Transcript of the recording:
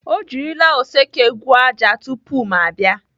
Ọ jirila oseke gwuo ájá tupu ma abịa.